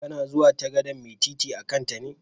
Kana zuwa ta gadan'mai titi a'kan ta ne?